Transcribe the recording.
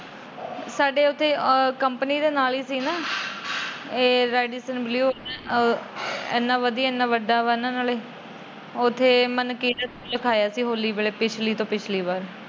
ਸਾਡੇ ਉੱਥੇ ਕੰਪਨੀ ਦੇ ਨਾਲ ਏ ਸੀ ਨਾ। ਏ ਰੇਡੀਸਨ ਬਲੂ ਇਹਨਾਂ ਵਧੀਆ ਏਨਾ ਵੱਡਾ ਵਾ। ਉੱਥੇ ਲਖਾਇਆ ਸੀ ਹੋਲੀ ਵੇਲੇ ਪਿਛਲੀ ਤੋਂ ਪਿਛਲੀ ਵਾਰ।